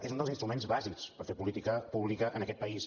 és un dels instruments bàsics per fer política pública en aquest país